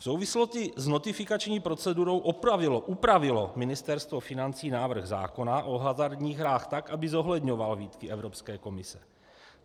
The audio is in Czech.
V souvislosti s notifikační procedurou upravilo Ministerstvo financí návrh zákona o hazardních hrách tak, aby zohledňoval výtky Evropské komise.